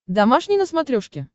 домашний на смотрешке